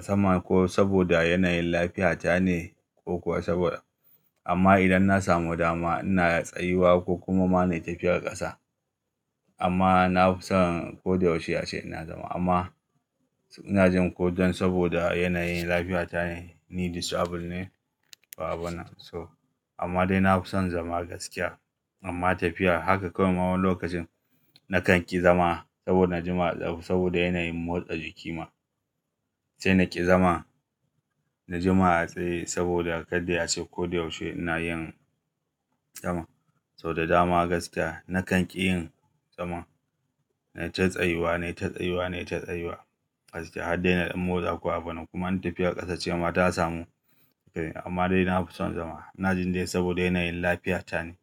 zama ko saboda yanayin lafiyata ne ko kuwa saboda amma idan na samu dama ina tsayuwa ko kuma mana tafiyar ƙasa. Amma na fi son ko da yaushe ashe ina zama amma ina jin ko don saboda yanayin lafiyata ne, ni disabled ne, ba abuna so. Amma dai na fi son zama gaskiya. Amma tafiya haka kawai wani lokacin nakan ƙi zama saboda jima'a, saboda yanayin motsa jikima. Sai na ƙi zama, na jima'a tsaye saboda kada ya shigo duk yaushe ina yin zama. Saboda dama gaskiya nakan ƙi yin zama, na ta tsayuwa ne, ta tsayuwa ne, ta tsayuwa gaskiya. Haddai na ɗan motsa ko abuna kuma tafiyar ƙasa ce amma ta samu. Amma dai na fi son zama. Ina jin dai saboda yanayin lafiyata ne.